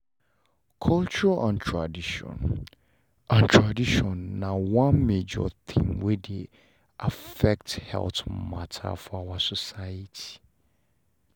culture and tradition and tradition na one major thing wey affect health matter for our society